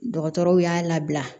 Dɔgɔtɔrɔw y'a labila